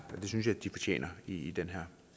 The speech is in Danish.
synes jeg de fortjener i i den her